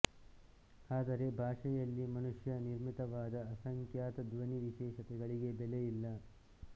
ಆದರೆ ಭಾಷೆಯಲ್ಲಿ ಮನುಷ್ಯ ನಿರ್ಮಿತವಾದ ಅಸಂಖ್ಯಾತ ಧ್ವನಿ ವಿಶೇಷತೆಗಳಿಗೆ ಬೆಲೆಯಿಲ್ಲ